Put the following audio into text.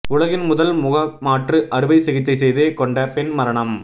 உலகின் முதல் முகமாற்று அறுவை சிகிச்சை செய்து கொண்ட பெண் மரணம்